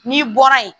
N'i bɔra yen